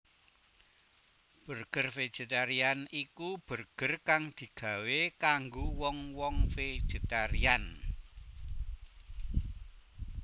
Burger vegetarian iku burger kang digawé kanggo wong wong vegetarian